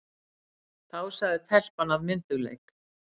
Þá sagði telpan af myndugleik